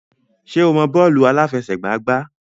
Ṣé o mọ bọ́ọ̀lù àláfẹsẹ̀gbá gbá?